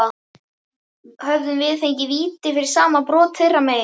Hefðum við fengið víti fyrir sama brot þeirra megin?